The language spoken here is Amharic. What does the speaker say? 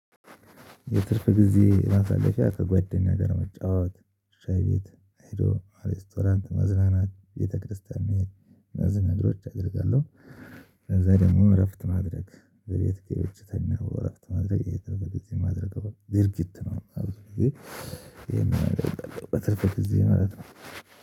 የትርፍ ጊዜ ማሳለፊያ ከጓደኛ ጋር መጫወት ሻይ ቤት ሂዶ ሬስቶራንት መዝናናት ቤተክርስቲያን መሄድ እነዚህ ነገሮች አደርጋለሁ ከዛ ደግሞ እረፍት ማድረግ በቤት ገብቸ ተኛው እረፍት ማድረግ ይሄ ድርጊት ማድረግ ድርጊት ነው ይሄን ማድረግ በትርፍ ጊዜ ማለት ነው።